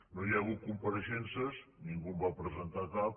no hi ha hagut compareixences ningú en va presentar cap